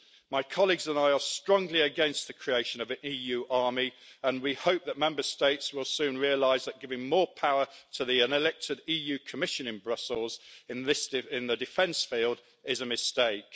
My colleagues and I are strongly against the creation of an EU army and we hope that Member States will soon realise that giving more power to the unelected EU Commission in Brussels in the defence field is a mistake.